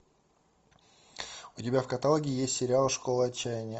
у тебя в каталоге есть сериал школа отчаяния